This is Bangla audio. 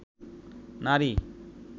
নারী